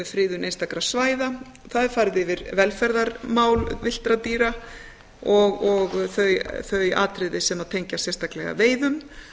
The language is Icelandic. friðun einstakra svæða það er farið yfir velferðarmál villtra dýra og þau atriði sem tengjast sérstaklega veiðum